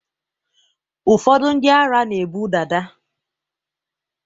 ụfọdụ ndị ara na-ebu dada